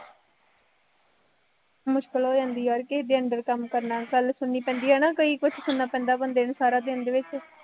ਮੁਸ਼ਕਿਲ ਹੋ ਜਾਂਦੀ ਹੈ, ਕਿਸੇ ਦੇ under ਕੰਮ ਕਰਨਾ, ਗੱਲ ਸੁਣਨੀ ਪੈਂਦੀ ਹੈ ਨਾ ਕਈ ਕੁੱਛ ਸੁਣਨਾ ਪੈਂਦਾ ਬੰਦੇ ਨੂੰ ਸਾਰਾ ਦਿਨ ਦੇ ਵਿੱਚ